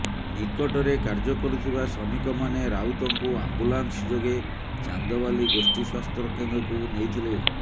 ନିକଟରେ କାର୍ଯ୍ୟ କରୁଥିବା ଶ୍ରମିକମାନେ ରାଉତଙ୍କୁ ଆମ୍ବୁଲାନ୍ସ ଯୋଗେ ଚାନ୍ଦବାଲି ଗୋଷ୍ଠୀ ସ୍ୱାସ୍ଥ୍ୟକେନ୍ଦ୍ରକୁ ନେଇଥିଲେ